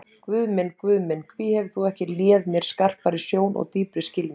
Guð minn, Guð minn, hví hefur þú ekki léð mér skarpari sjón og dýpri skilning?